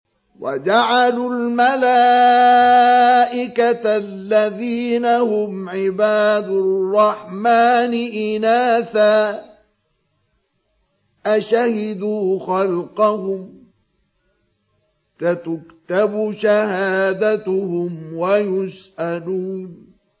وَجَعَلُوا الْمَلَائِكَةَ الَّذِينَ هُمْ عِبَادُ الرَّحْمَٰنِ إِنَاثًا ۚ أَشَهِدُوا خَلْقَهُمْ ۚ سَتُكْتَبُ شَهَادَتُهُمْ وَيُسْأَلُونَ